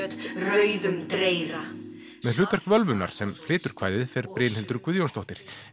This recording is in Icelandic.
rauðum dreyra með hlutverk völvunnar sem flytur kvæðið fer Brynhildur Guðjónsdóttir